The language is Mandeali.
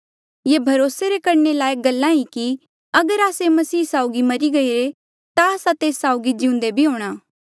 ये भरोसे करणे रे लायक गल्ला ई कि अगर आस्से मसीह साउगी मरी गईरे ता आस्सा तेस साउगी जिउंदे भी हूंणा